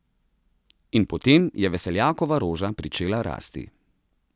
In potem je veseljakova roža pričela rasti.